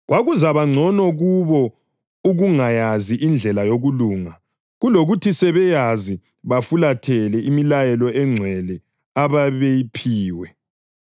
Kwakuzakuba ngcono kubo ukungayazi indlela yokulunga, kulokuthi sebeyazi bafulathele imilayo engcwele ababeyiphiwe.